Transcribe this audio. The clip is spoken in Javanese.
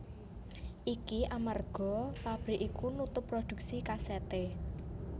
Iki amarga pabrik iku nutup prodhuksi kasèté